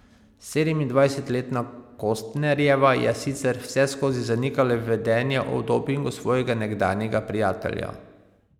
Sedemindvajsetletna Kostnerjeva je sicer vseskozi zanikala vedenje o dopingu svojega nekdanjega prijatelja.